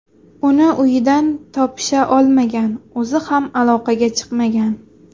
Uni uyidan topisha olmagan, o‘zi ham aloqaga chiqmagan.